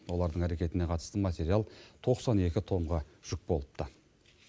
олардың әрекетіне қатысты материал тоқсан екі томға жүк болыпты